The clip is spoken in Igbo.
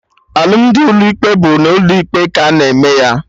Alụmdi ụlọ ikpe bụ n'ụlọ ikpe ka a na-eme ya